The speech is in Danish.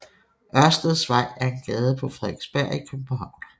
Ørsteds Vej er en gade på Frederiksberg i København